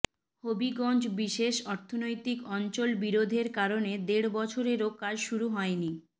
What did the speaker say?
হবিগঞ্জ বিশেষ অর্থনৈতিক অঞ্চল বিরোধের কারণে দেড় বছরেও কাজ শুরু হয়নি